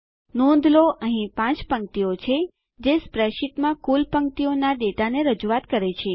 નોંધ લો અહીં 5 પંક્તિઓ છે જે સ્પ્રેડશીટમાં કુલ પંક્તિઓના ડેટાને રજૂઆત કરે છે